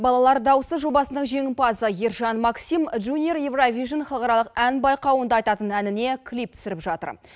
балалар даусы жобасының жеңімпазы ержан максим жуниор еуравижн халықаралық ән байқауында айтатын әніне клип түсіріп жатыр